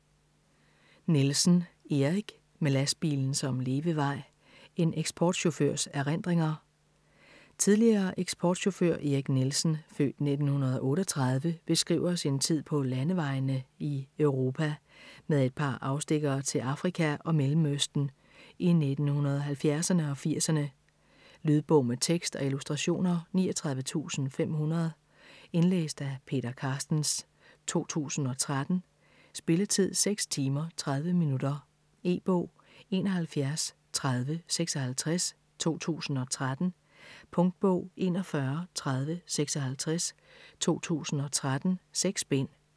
Nielsen, Erik: Med lastbilen som levevej: en eksportchaufførs erindringer Tidligere eksportchauffør Erik Nielsen (f. 1938) beskriver sin tid på landevejene i Europa, med et par afstikkere til Afrika og Mellemøsten, i 1970´erne og 80´erne. Lydbog med tekst og illustrationer 39500 Indlæst af Peter Carstens, 2013. Spilletid: 6 timer, 30 minutter. E-bog 713056 2013. Punktbog 413056 2013. 6 bind.